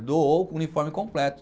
Doou o uniforme completo.